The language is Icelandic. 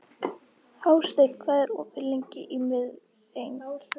Hásteinn, hvað er opið lengi í Miðeind?